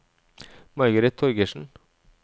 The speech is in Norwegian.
Margaret Torgersen